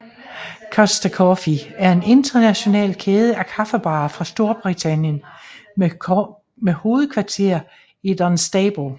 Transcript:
Costa Coffee er en international kæde af kaffebarer fra Storbritannien med hovedkvarter i Dunstable